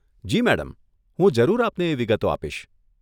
જી madam, હું જરૂર આપને એ વિગતો આપીશ.